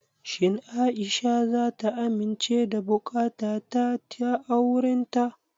Shin Aisha zata amince da buƙatata ta aurenta?